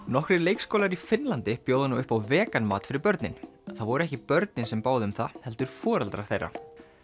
nokkrir leikskólar í Finnlandi bjóða nú upp á vegan mat fyrir börnin það voru ekki börnin sem báðu um það heldur foreldrar þeirra